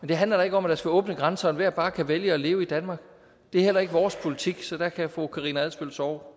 det handler da ikke om at man skal åbne grænserne og bare kan vælge at leve i danmark det er heller ikke vores politik så der kan fru karina adsbøl sove